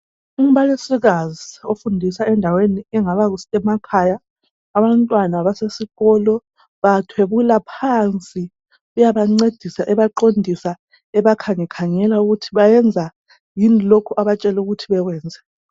Umbalisikazi ofundisa endaweni engaba kusemakhaya, abantwana basesikolo bathwebula phansi uyabancedisa ebaqondisa ebakhangekhangela ukuthi bayenza yini lokho abatshele ukuthi bakwenze.